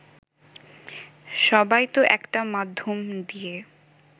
সবাই তো একটা মাধ্যম দিয়ে